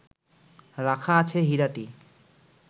রাখা আছে হীরাটি